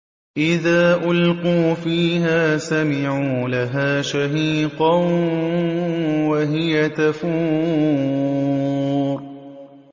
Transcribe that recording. إِذَا أُلْقُوا فِيهَا سَمِعُوا لَهَا شَهِيقًا وَهِيَ تَفُورُ